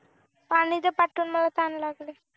पाणी दे पाठवून मला तहान लागले